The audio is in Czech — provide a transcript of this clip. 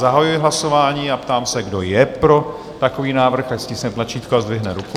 Zahajuji hlasování a ptám se, kdo je pro takový návrh, ať stiskne tlačítko a zdvihne ruku.